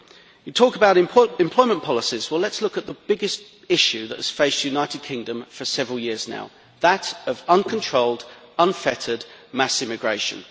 You talk about employment policies, well let us look at the biggest issue that has faced the United Kingdom for several years now that of uncontrolled, unfettered, mass immigration.